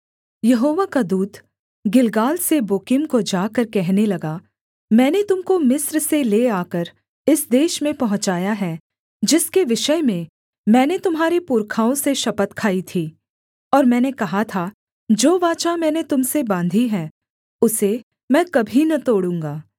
यहोवा का दूत गिलगाल से बोकीम को जाकर कहने लगा मैंने तुम को मिस्र से ले आकर इस देश में पहुँचाया है जिसके विषय में मैंने तुम्हारे पुरखाओं से शपथ खाई थी और मैंने कहा था जो वाचा मैंने तुम से बाँधी है उसे मैं कभी न तोड़ूँगा